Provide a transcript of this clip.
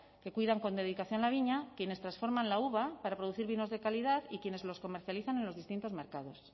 que cuidan con dedicación la viña quienes transforman la uva para producir vinos de calidad y quienes los comercializan en los distintos mercados